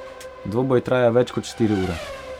Dvoboj traja več kot štiri ure.